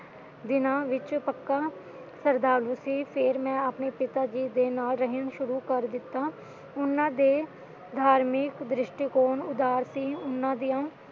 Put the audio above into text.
ਦਿਨਾਂ ਵਿੱਚ ਪੱਕਾ ਸ਼ਰਧਾਲੂ ਸੀ ਫੇਰ ਮੈਂ ਆਪਣੇ ਪਿਤਾ ਜੀ ਦੇ ਨਾਲ ਰਹਿਣਾ ਸ਼ੁਰੂ ਕਰ ਦਿੱਤਾ ਉਹਨਾਂ ਦੇ ਧਾਰਮਿਕ ਦ੍ਰਿਸ਼ਟੀਕੋਣ ਉਦਾਰ ਸੀ